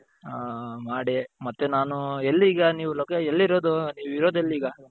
ಹ ಮಾಡಿ ಮತ್ತೆ ನಾನು ಎಲ್ಲಿ ಈಗ ನೀವು ಎಲ್ಲಿರೋದು ನೀವಿರೋದು ಎಲ್ಲಿ ಈಗ ?